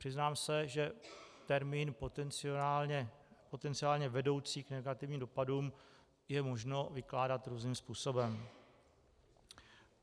Přiznám se, že termín "potenciálně vedoucí k negativním dopadům" je možno vykládat různým způsobem.